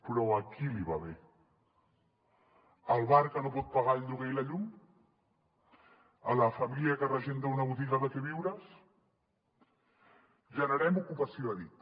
però a qui li va bé al bar que no pot pagar el lloguer i la llum a la família que regenta una botiga de queviures generem ocupació ha dit